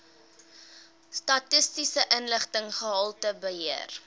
statistiese inligting gehaltebeheer